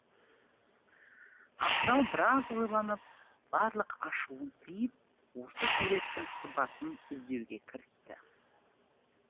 абзал біраз ойланып барлық ашуын тиіп осы суреттің сызбасын іздеуге кірісті